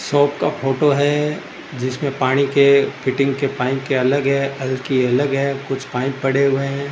Shop का photo है जिसपे पाड़ी के फिटिंग के पाइप के अलग है की अलग है कुछ पाइप पड़े हुए हैं।